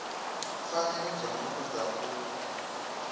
pfanelo dza muthu dza u